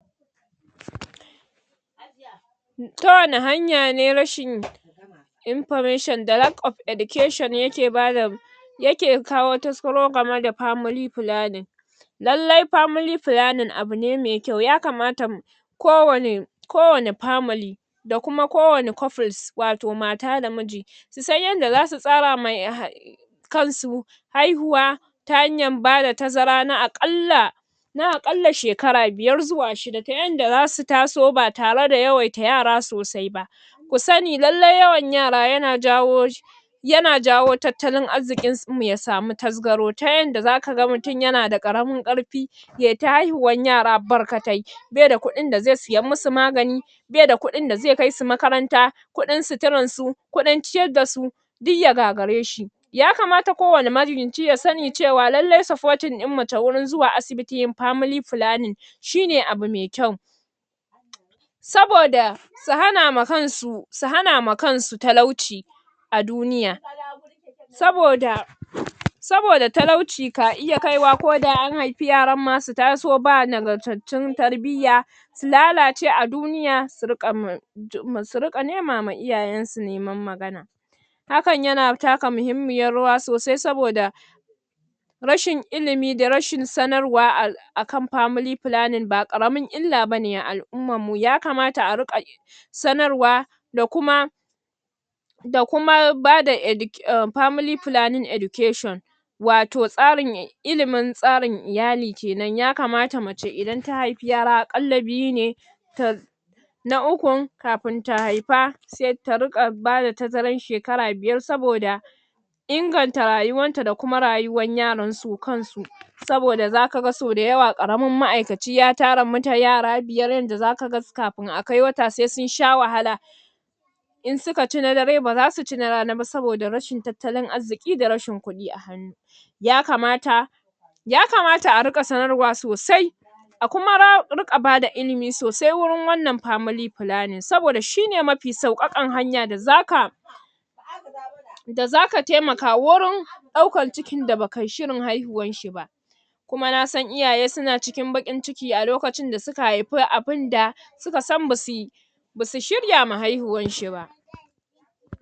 Ta wanne hanya ne information da lack of education yake bada yake kawo taskaro game da family planning lallai family planning abune mai kyau yakamata ko wanne ko wanne family da kuma kowanne couples wato mata da miji su san yadda zasu tsarama um kansu haihuwa ta hanyar ba da tazara na aƙalla na aƙalla shekara biyar zuwa shida ta yadda zasu taso ba tare da yawaita yara sosai ba ku sani lallai yawan yara yana jawo yana jawo tattalin arzikin mu ya sami tasgaro ta yadda zaka ga mutum yana da ƙaramin ƙarfi yayi ta haihuwar yara barkatai bai da kuɗin da zai siyan musu magani bai da kuɗin da zai kai su makaranta kuɗin suturar su kuɗin ciyar dasu duk ya gagare shi yakamata kowanne magidance ya sani cewa lallai supporting ɗin mace wurin zuwa asibiti yin family planning shine abu mai kyau saboda su hana ma kansu, su hana ma kansu talauci a duniya saboda saboda talauci ka iya kaiwa koda an haifi yaran ma taso ba nagargartun tarbiya su lalace a duniya su riƙa um su riƙa nema ma iyayen su neman magana hakan yana taka mahimmiyar rawa sosai sabioda rashin ilimi da rashin sanarwa a akan family planning ba ƙaramar illa bane a al'ummar mu, yakamata a riƙa sanarwa da kuma da kuma ba da edu um family planning education wato tsarin, ilimin tsarin iyali kenan, yakamata mace idan ta haifi yara a ƙalla biyu ne ta na ukun kafin ta haifa sai, ta riƙa bada tazarar shekara biyar saboda inganta rayuwar ta da kuma rayuwar yaran su kansu saboda zaka ga sau da yawa ƙaramin ma'aikaci ya tara mut yara biyar yadda zaka ga kafin akai wata sai sun sha wahala in suka ci na dare ba zasu ci na rana ba saboda rashin tattalin arziki da rashin kuɗi a hannu yakamata yakamata a riƙa sanarwa sosai a kuma ra riƙa bada ilimi sosai wurin wannan family plannings saboda shine mafi sauƙaƙan hanya da zaka da zaka taimaka wurin ɗaukar cikin da ba kai shirin haihuwarsa ba kuma nasan iyaye suna cikin baƙin ciki a lokacin da suka haifi abinda suka san basu basu shirya ma haihuwar shi ba